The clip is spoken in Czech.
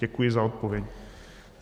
Děkuji za odpověď.